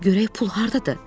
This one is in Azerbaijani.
Görək pul hardadır?